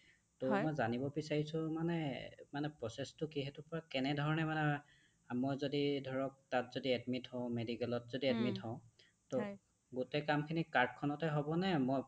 টৌ মই জানিব বিচাৰিছো মানে মানে process টো কি? সেইটোৰ পৰা কেনেধৰণে মানে মই যদি ধৰক তাত যদি admit হওঁ medicalত যদি admit হওঁ টৌ গোটে কামখিনি card খনত এ হ'বনে? মই তাত